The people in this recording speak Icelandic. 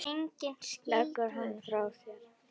Leggur hann frá sér.